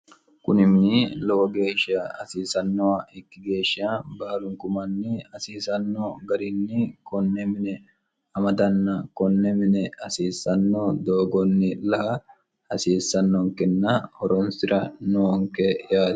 kuni mini lowo geeshsha hasiisannoha ikki geeshsha baalunku manni hasiisanno garinni konne mine amadanna konne mine hasiissanno doogonni la'a hasiissannonkenna horonsi'ra noonke yaati